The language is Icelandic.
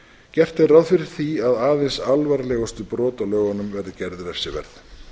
gert er ráð fyrir því að aðeins alvarlegustu brot á lögunum verði gerð refsiverð